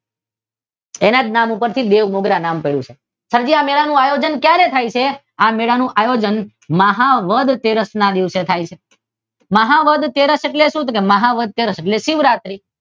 તેના જ નામ પરથી બેઉ મુદ્રા નામ પડ્યું છે. સરજી આ મેળાનું આયોજન ક્યારે થાય છે મહા વદ તેરસ ના દિવસે થાય છે. મહા વદ તેરસ એટલે શું શિવરાત્રી શિવરાત્રી